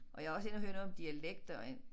Og jeg var også inde og høre noget om dialekter en